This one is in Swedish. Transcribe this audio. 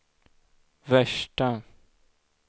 värsta